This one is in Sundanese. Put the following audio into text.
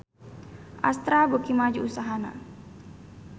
Astra beuki maju usahana